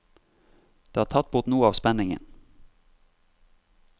Det har tatt bort noe av spenningen.